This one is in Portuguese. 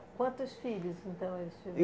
Quantos filhos, então, eles